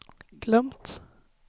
glömt